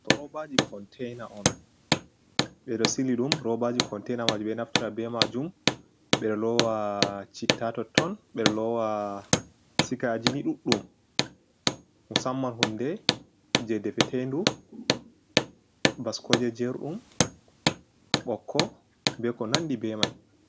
Ɗo robaji kontena on. Ɓe ɗo sili ɗum roobaji containa majum be naftata be majum ɓe ɗo lowa citta totton, ɓe ɗo lowa sigaji ni ɗuɗɗum, musamman hunde jei defetendu, baskoje jerɗum, ɓokko be ko nandi be mai.